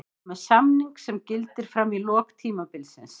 Ég er með samning sem gildir fram í lok tímabilsins.